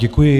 Děkuji.